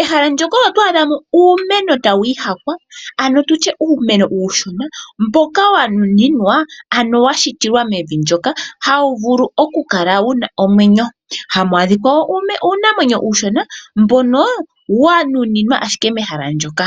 Ehala ndoka oto adhamo uumeno tawu ihakwa, ano tutye uumeno uushona mboka wanuniwa, ano wa shitilwa mevi ndoka okukala hawu vulu okukala wuna omwenyo. Hamu adhikwa wo uunamwenyo uushona mbono wanuninwa ashike mehala ndoka.